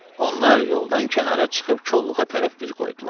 Onlar yoldan kənara çıxıb kolluğa tərəf üz qoydular.